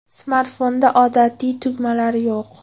Smartfonda odatiy tugmalar yo‘q.